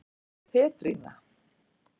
Petrína